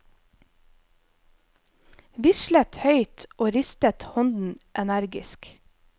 Vislet høyt og ristet hånden energisk.